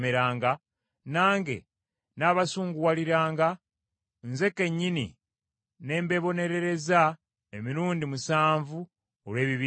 nange nnaabasunguwaliranga, nze kennyini ne mbeebonerereza emirundi musanvu olw’ebibi byammwe.